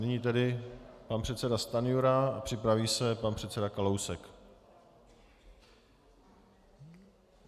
Nyní tedy pan předseda Stanjura a připraví se pan předseda Kalousek.